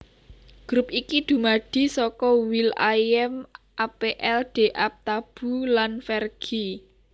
Grup iki dumadi saka will i am apl de ap Taboo lan Fergie